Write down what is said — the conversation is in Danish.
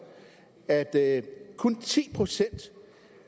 at det kun er ti procent